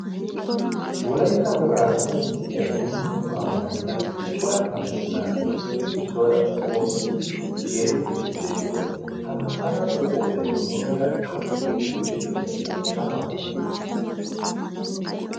wolaytta wogaa qonccissiya bullukuwaa maayida cora maccanaati issoy issuwaara qoomettidi yerettiiddi beettoosona ha maccanaatu qooday muumeera happunee eti de'iyoosayoka waana